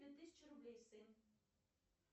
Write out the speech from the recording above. две тысячи рублей сын